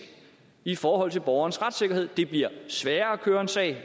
i forhold til borgernes retssikkerhed det bliver sværere at køre en sag